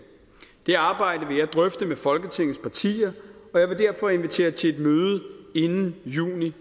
det arbejde vil jeg drøfte med folketingets partier og jeg vil derfor invitere til et møde inden juni